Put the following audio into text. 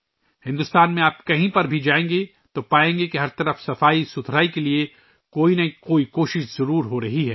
آپ بھارت میں ، جہاں بھی جائیں، آپ دیکھیں گے کہ ہر جگہ صفائی کے لئے کوئی نہ کوئی کوشش کی جا رہی ہے